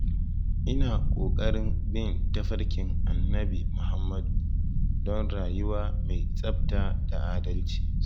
Ina kokarin bin tafarkin Annabi Muhammad (SAW) don rayuwa mai tsabta da adalci.